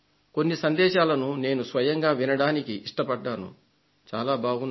కొన్ని సందేశాలను నేను స్వయంగా వినడానికి ఇష్టపడ్డాను చాలా బాగున్నాయి